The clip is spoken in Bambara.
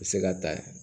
U bɛ se ka ta